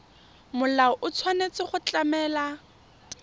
molao o tshwanetse go tlamela